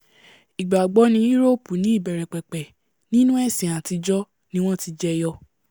ìgbàgbọ́ ní úróòpù ní ìbẹ̀rẹ̀pẹ̀pẹ̀ nínú ẹ̀sìn àtijọ́ ni wọ́n ti jẹyọ